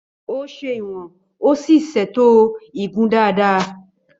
Ó ṣe ìwọ̀n ó sì ṣètò igun dáadáa.